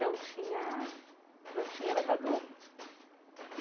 Não tinha não tinha elevador.